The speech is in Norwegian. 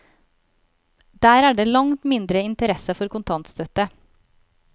Der er det langt mindre interesse for kontantstøtte.